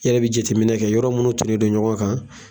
Yɛrɛ be jateminɛ kɛ yɔrɔ munnu tunnen don ɲɔgɔn kan